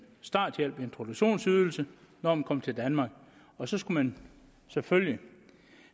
starthjælp en introduktionsydelse når man kom til danmark og så skulle man selvfølgelig